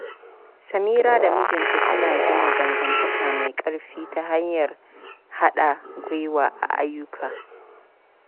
Samira da mijinta suna gina dangantaka mai ƙarfi ta hanyar haɗa gwiwa a ayyuka.